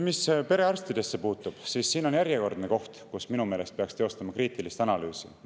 Mis perearstidesse puutub, siis see on järjekordne koht, kus minu meelest peaks teostama kriitilist analüüsi.